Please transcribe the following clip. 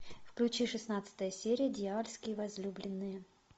включи шестнадцатая серия дьявольские возлюбленные